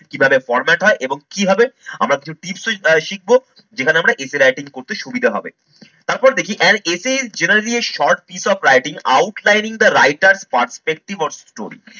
কিভাবে format হয় এবং কিভাবে আমরা কিছু tips আহ শিখবো যেখানে আমরা essay writing করতে সুবিধা হবে। তারপর দেখি as essay generally a short piece of writing outline the writer perspective of story